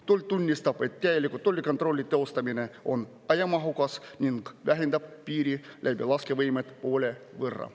Tuleb tunnistada, et täieliku tollikontrolli teostamine on ajamahukas ning vähendab piiri läbilaskevõimet poole võrra.